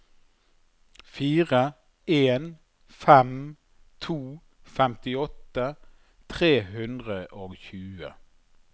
fire en fem to femtiåtte tre hundre og tjue